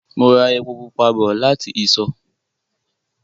Mo ra epo pupa bọ̀ láti ìsọ̀